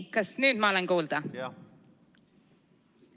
Kas nüüd ma olen kuulda?